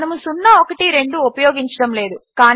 మనము 012 ఉపయోగించడము లేదు